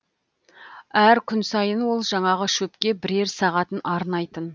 әр күн сайын ол жаңағы шөпке бірер сағатын арнайтын